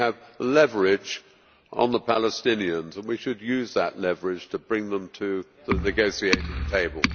We have leverage on the Palestinians and we should use that leverage to bring them to the negotiating table.